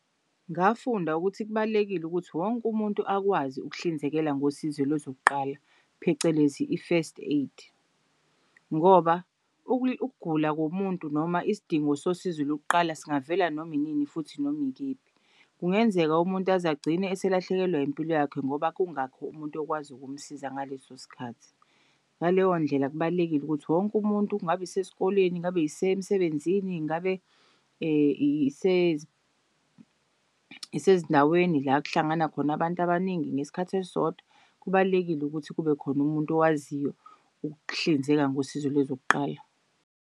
Ngafunda ukuthi kubalulekile ukuthi wonke umuntu akwazi ukuhlinzekela ngosizo lezokuqala phecelezi i-first aid ngoba, ukugula komuntu noma isidingo sosizo lokuqala singavela noma inini futhi noma ikephi. Kungenzeka umuntu azagcine eselahlekelwa impilo yakhe ngoba kungakho umuntu okwazi ukumsiza ngaleso sikhathi. Ngaleyondlela kubalulekile ukuthi wonke umuntu kungabe yisesikoleni, ngabe yisemsebenzini ngabe isezindaweni la kuhlangana khona abantu abaningi ngesikhathi esisodwa. Kubalulekile ukuthi kubekhona umuntu owaziyo ukuhlinzeka ngosizo lezokuqala.